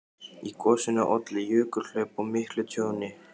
Í gosinu olli jökulhlaup og miklu tjóni.